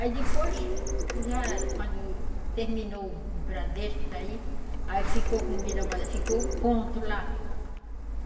Aí depois, já quando terminou o Bradesco daí, aí ficou, como diz a moda, ficou o ponto lá.